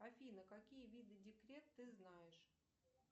афина какие виды декрет ты знаешь